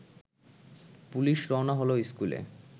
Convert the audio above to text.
police রওনা হলো স্কুলে